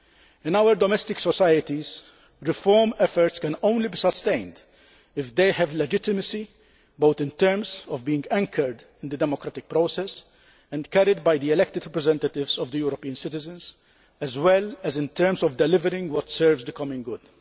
In our democratic societies, reform efforts can only be sustained if they have legitimacy, both in terms of being anchored in the democratic process and carried by the elected representatives of the European citizens as well as in terms of delivering what serves the common good.